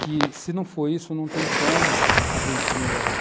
Que, se não for isso, não tem como a gente melhorar.